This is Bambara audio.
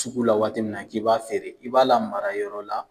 Sugu la waati min na k'i b'a feere, i b'a lamara yɔrɔ la.